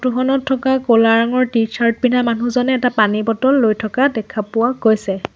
Photo খনত থকা ক'লা ৰঙৰ টি চাৰ্ট পিন্ধা মানুহজনে এটা পানী বটল লৈ থকা দেখা পোৱা গৈছে।